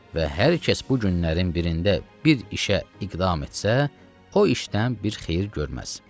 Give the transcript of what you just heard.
Və hər kəs bu günlərin birində bir işə iqdam etsə, o işdən bir xeyir görməz.